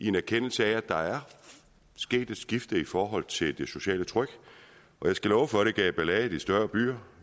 en erkendelse af at der er sket et skift i forhold til det sociale tryk og jeg skal love for at det gav ballade i de større byer